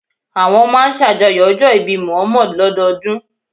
Àwọn máa ń ṣàjọyọ̀ ọjọ́ ìbí Muhammad lọ́dọọdún